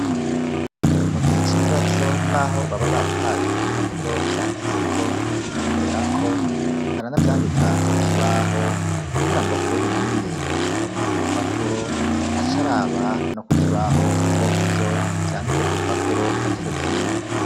Mu gihe c'ibibazo n'aho baba baduhaye impapuro vyanditseko, tugakorerako baranavyandika kukibaho, kugira ngo uwo binaniye gusoma ku rupapuro, acaraba no kukibaho ko ivyo vyanditse ku rupapuro ari co kimwe